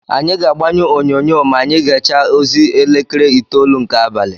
Anyị ga-agbanyụ onyonyo ma anyị gechaa ozi elekere itolu nke abalị.